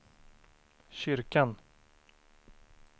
kyrkan